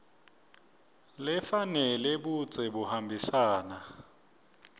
lefanele budze buhambisana